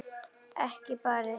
Ekki barist.